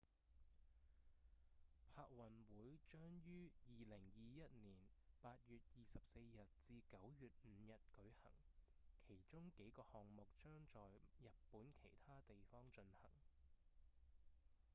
帕運會將於2021年8月24日至9月5日舉行其中幾個項目將在日本其他地方進行